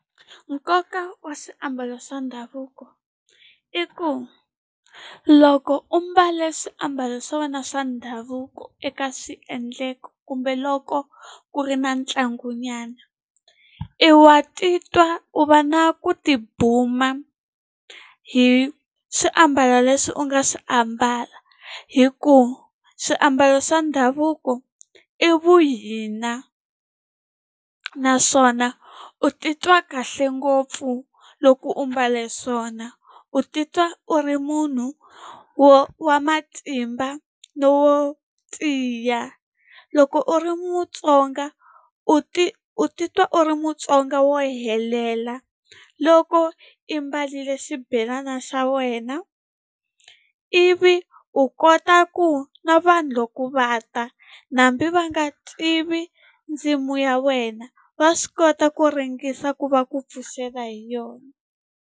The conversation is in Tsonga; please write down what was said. Nkoka wa swiambalo swa ndhavuko i ku loko u mbale swiambalo swa wena swa ndhavuko eka swiendleko kumbe loko ku ri na ntlangunyana i wa titwa u va na ku tibuma hi swiambalo leswi u nga swi ambala hikuva swiambalo swa ndhavuko i vuhina naswona u titwa kahle ngopfu loko u mbale swona u titwa u ri munhu wo wa matimba no wo tiya loko u ri Mutsonga u ti u titwa u ri Mutsonga wo helela loko i mbarile xibelana xa wena ivi u kota ku na vanhu loko va ta hambi va nga tivi ndzimu ya wena va swi kota ku ringesa ku va ku pfuxela hi yona.